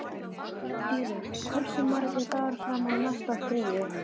Dýri, hversu margir dagar fram að næsta fríi?